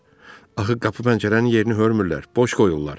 Axı qapı pəncərənin yerini hörmürlər, boş qoyurlar.